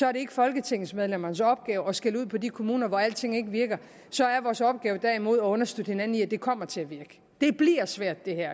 er det ikke folketingsmedlemmernes opgave at skælde ud på de kommuner hvor ikke alting virker så er vores opgave derimod at understøtte hinanden i at det kommer til at virke det bliver svært det her